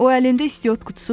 O əlində istiot qutusu tutmuşdu.